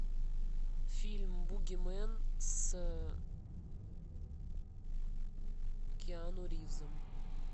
фильм бугимен с киану ривзом